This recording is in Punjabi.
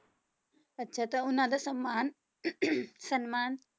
ਅੱਛਾ ਤਾਂ ਉਹਨਾਂ ਦਾ ਸਮਾਨ ਸਨਮਾਨ